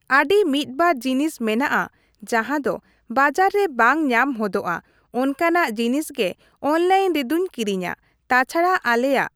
ᱟᱹᱰᱤ ᱢᱤᱫᱵᱟᱨ ᱡᱤᱱᱤᱥ ᱢᱮᱱᱟᱜᱼᱟ ᱡᱟᱸᱦᱟ ᱫᱚ ᱵᱟᱡᱟᱨ ᱨᱮ ᱵᱟᱝ ᱧᱟᱢ ᱦᱚᱫᱚᱜᱼᱟ ᱚᱱᱠᱟᱱᱟᱜ ᱡᱤᱱᱤᱥ ᱜᱮ ᱚᱱᱞᱟᱭᱤᱱ ᱨᱮᱫᱚᱧ ᱠᱤᱨᱤᱧᱟ ᱾ ᱛᱟᱪᱷᱟᱲᱟ ᱟᱞᱮᱭᱟᱜ ᱾